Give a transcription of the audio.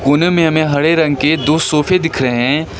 कोने में हमें दो हरे रंग के दो सोफे दिख रहे हैं।